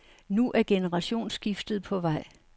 Nu er generationsskiftet på vej.